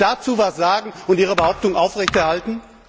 Können Sie dazu etwas sagen und Ihre Behauptung aufrechterhalten?